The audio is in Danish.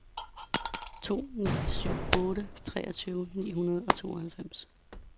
to ni syv otte treogtyve ni hundrede og tooghalvfems